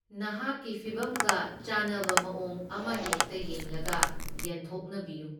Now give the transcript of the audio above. ꯅꯍꯥꯛꯀꯤ ꯐꯤꯚꯝꯒ ꯆꯥꯅꯕ ꯃꯑꯣꯡ ꯑꯃꯍꯦꯛꯇ ꯌꯦꯡꯂꯒ ꯌꯦꯟꯊꯣꯛꯅꯕꯤꯌꯨ꯫